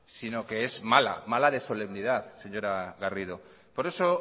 sino que es mala mala de solemnidad señora garrido por eso